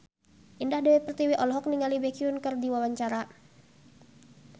Indah Dewi Pertiwi olohok ningali Baekhyun keur diwawancara